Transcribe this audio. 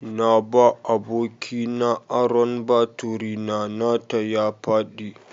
Na ba abokina aron baturi na, nata ya faɗi.